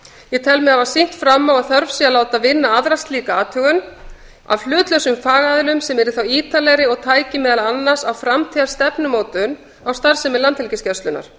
ég tel mig hafa sýnt fram á að þörf sé á að láta vinna aðra slíka athugun af hlutlausum fagaðilum sem yrði þá ítarlegri og tæki meðal annars á framtíðarstefnumótun á starfsemi landhelgisgæslunnar